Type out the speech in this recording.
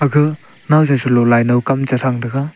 ga nawsa chalo laino kam che tham taiga.